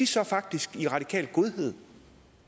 så faktisk i radikal godhed